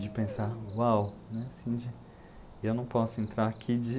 De pensar, uau, né, assim de, eu não posso entrar aqui de